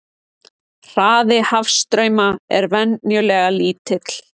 Hraði hafstrauma er venjulega lítill.